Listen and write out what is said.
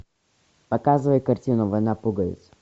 показывай картину война пуговиц